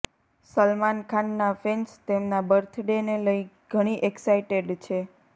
સલમાન ખાનના ફેન્સ તેમના બર્થડેને લઈ ઘણી એક્સાઈટેડ છે